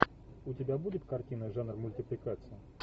у тебя будет картина жанр мультипликация